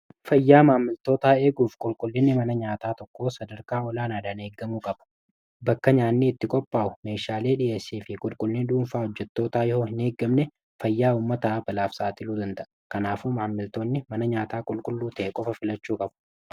Fayyaa maammiltoota eeguuf qulqullinni mana nyaataa tokko sadarkaa olaanaadhaan eeggamuu qabu bakka nyaanni itti qophaa'u meeshaale fi qulqulluu dhuunfaa hojjettootaa yo hin eeggamne fayyaa ummataa balaaf saaxiluu danda'a . kanaafu maamiltoonni mana nyaataa qulqulluu ta'e qofa filachuu qabu.